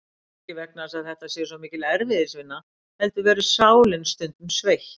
Ekki vegna þess að þetta sé svo mikil erfiðisvinna heldur verður sálin stundum sveitt.